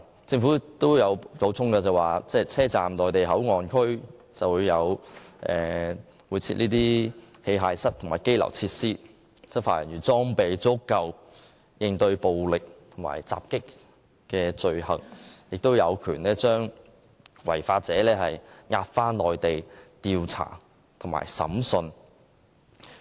政府亦補充，車站的內地口岸區會設有器械室及羈留設施，讓執法人員有足夠裝備應對暴力及襲擊罪行，並有權將違法者押回內地進行調查及審訊。